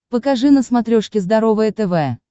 покажи на смотрешке здоровое тв